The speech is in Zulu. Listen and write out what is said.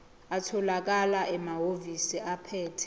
atholakala emahhovisi abaphethe